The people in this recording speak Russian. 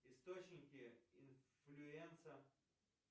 источники инфлюэнца